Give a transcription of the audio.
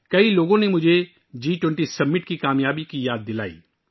بہت سے لوگوں نے مجھے جی 20 سربراہی اجلاس کی کامیابی کی یاد دلائی